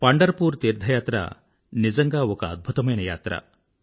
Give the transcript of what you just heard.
పండర్ poor తీర్థయాత్ర నిజంగా ఒక అద్భుతమైన యాత్ర